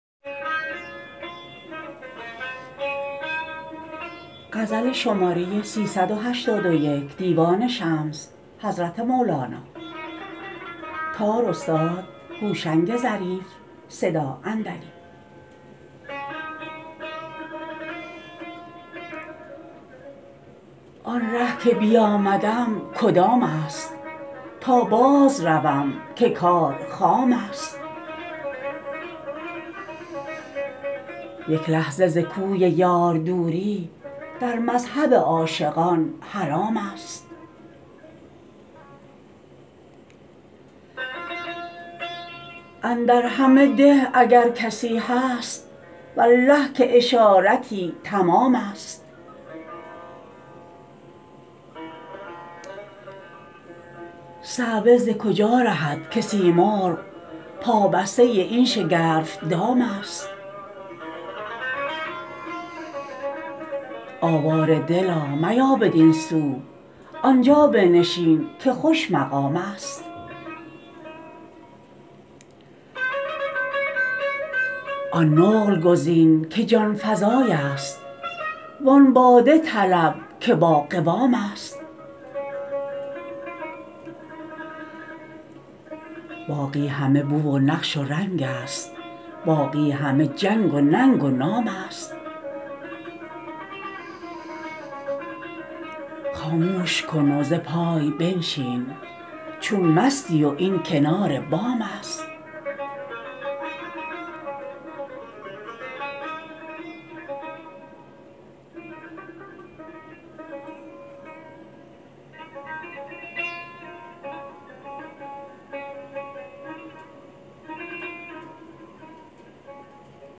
آن ره که بیامدم کدامست تا بازروم که کار خامست یک لحظه ز کوی یار دوری در مذهب عاشقان حرامست اندر همه ده اگر کسی هست والله که اشارتی تمامست صعوه ز کجا رهد که سیمرغ پابسته این شگرف دامست آواره دلا میا بدین سو آن جا بنشین که خوش مقامست آن نقل گزین که جان فزایست وان باده طلب که باقوامست باقی همه بو و نقش و رنگست باقی همه جنگ و ننگ و نامست خاموش کن و ز پای بنشین چون مستی و این کنار بامست